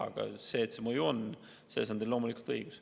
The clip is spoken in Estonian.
Aga et see mõju on, selles on teil loomulikult õigus.